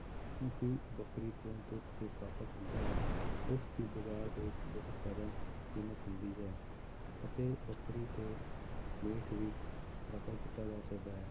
ਕਿਉਂਕਿ ਬੱਕਰੀ ਤੋਂ ਦੁੱਧ ਘਿਓ ਪ੍ਰਾਪਤ ਹੁੰਦਾ ਹੈ, ਉਸਦੀ ਬਾਜ਼ਾਰ ਦੇ ਵਿੱਚ ਬਹੁਤ ਜ਼ਿਆਦਾ ਕੀਮਤ ਹੁੰਦੀ ਹੈ, ਅਤੇ ਬੱਕਰੀ ਤੋਂ ਮੀਟ ਵੀ ਪ੍ਰਾਪਤ ਕੀਤਾ ਜਾ ਸਕਦਾ ਹੈ,